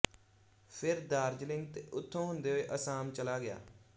ਫਿਰ ਦਾਰਜਲਿੰਗ ਤੇ ਉੱਥੋਂ ਹੁੰਦੇ ਹੋਏ ਆਸਾਮ ਚਲਾ ਗਿਆ